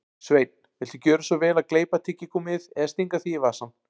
Sveinn, viltu gjöra svo vel að gleypa tyggigúmmíið eða stinga því í vasann